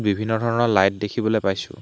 বিভিন্ন ধৰণৰ লাইট দেখিবলৈ পাইছোঁ।